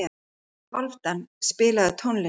Hálfdan, spilaðu tónlist.